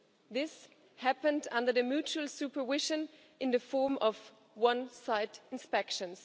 This happened under the mutual supervision, in the form of one side inspections.